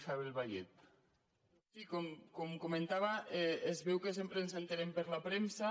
sí com comentava es veu que sempre ens n’assabentem per la premsa